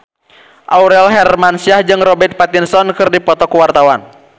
Aurel Hermansyah jeung Robert Pattinson keur dipoto ku wartawan